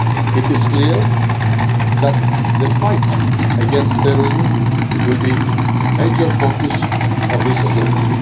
week. It is clear that the fight against terrorism will be a major focus of this